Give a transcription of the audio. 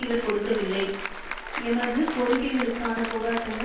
இவர் கொடுக்கவில்லை எமது கோரிக்கைகளுக்கான போராட்டங்கள்